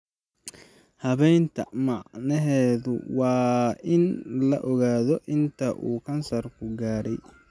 Habaynta macneheedu waa in la ogaado inta uu kansarku gaadhay.